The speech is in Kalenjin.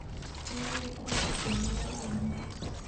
Une trafik en oret neo